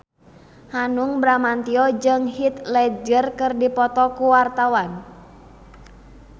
Hanung Bramantyo jeung Heath Ledger keur dipoto ku wartawan